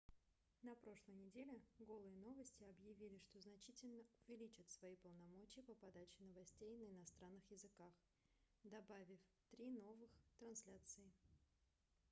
на прошлой неделе голые новости объявили что значительно увеличат свои полномочия по подаче новостей на иностранных языках добавив три новых трансляции